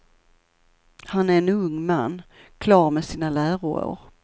Han är en ung man, klar med sina läroår.